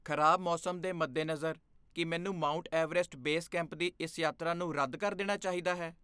ਖ਼ਰਾਬ ਮੌਸਮ ਦੇ ਮੱਦੇਨਜ਼ਰ, ਕੀ ਮੈਨੂੰ ਮਾਊਂਟ ਐਵਰੈਸਟ ਬੇਸ ਕੈਂਪ ਦੀ ਇਸ ਯਾਤਰਾ ਨੂੰ ਰੱਦ ਕਰ ਦੇਣਾ ਚਾਹੀਦਾ ਹੈ?